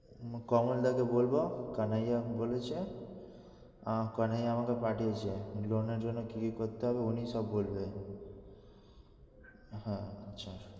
কমলদা কে বলবো কানাইয়া বলেছে, কানায় আমাকে পাঠিয়েছে loan এর জন্য কি কি করতে হবে উনি সব বলবে। হ্যাঁ আচ্ছা।